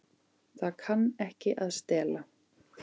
Það kann ekki að stela.